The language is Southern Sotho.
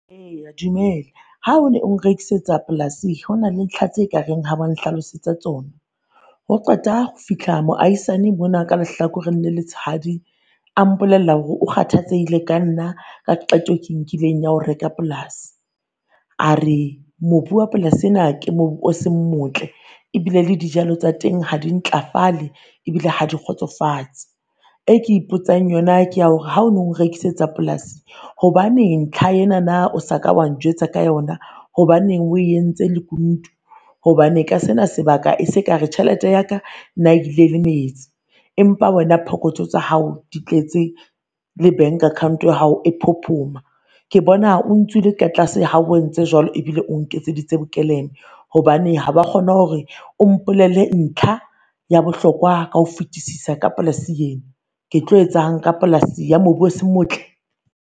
Eya, dumela. Ha o ne o nrekisetsa polase hona le ntlha tse kareng ha wa nlalosetsa tsona. Ho qeta ho fihla moahisane mona ka lehlakoreng le letshadi, a mpolella hore o kgathatsehile ka nna ka qeto e ke nkileng ya ho reka polasi. A re mobu wa plasi ena ke mobu o seng motle ebile, le dijalo tsa teng ha di ntlafale, ebile ha di kgotsofatse. E ke ipotsang yona ke ya hore ha o no nrekisetsa polasi hobaneng ntlha enana o sa ka wa njwetsa ka yona? Hobaneng o entse lekunutu? Hobane ka sena sebaka se ka re tjhelete ya ka nna e ile le metsi, empa wena pokotho tsa hao di tletse le bank account ya hao e phophoma. Ke bona o ntswile ka tlase ha o entse jwalo ebile o nketseditse bokeleme. Hobane ha wa kgona hore o mpolelle ntlha ya bohlokwa ka ho fitisisa ka plasi yena. Ke tlo etsahalang ka polasi ya mobu o se motle?